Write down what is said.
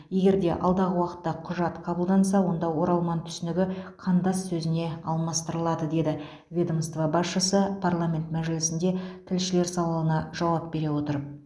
егер де алдағы уақытта құжат қабылданса онда оралман түсінігі қандас сөзіне алмастырылады деді ведомство басшысы парламент мәжілісінде тілшілер сауалына жауап бере отырып